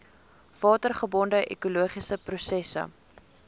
watergebonde ekologiese prosesse